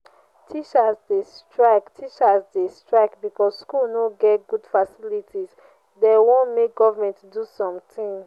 teachers dey strike teachers dey strike because skool no get good facilities dey wan make government do sometin.